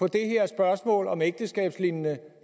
det her spørgsmål om ægteskabslignende